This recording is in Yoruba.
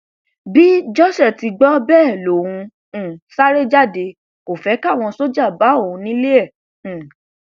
bí josé ti gbọ bẹẹ lòun um sáré jáde kò fẹ káwọn sójà bá òun nílé e um